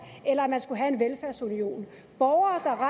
eller at man skulle have en velfærdsunion borgere